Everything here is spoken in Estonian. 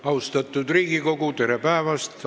Austatud Riigikogu, tere päevast!